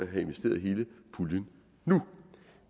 have investeret hele puljen nu